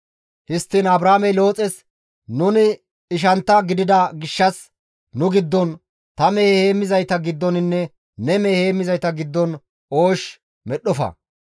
Histtiin Abraamey Looxes, «Nuni ishantta gidida gishshas, nu giddon, ta mehe heemmizayta giddoninne ne mehe heemmizayta giddon oosh medhdhofa.